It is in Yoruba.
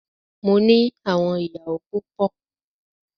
Mó ní àwọn ìyàwó púpọ.